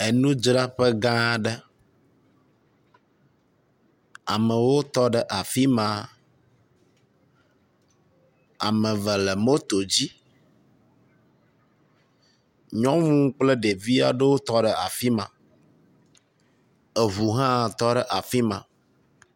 Enudzraƒe gã aɖe. Amewo tɔ ɖe afi ma. Ame eve le moto dzi. Nyɔnu kle ɖevi aɖewo tɔ ɖe afi ma. Eŋu hã tɔ ɖe afi ma.